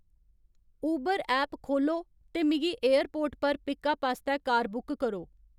उबर app खोह्ल्लो ते मिगी एयरपोर्ट पर पिकअप आस्तै कार बुक करो